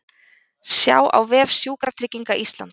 Sjá á vef Sjúkratrygginga Íslands